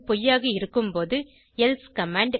பொய்யாக இருக்கும் போது எல்சே கமாண்ட்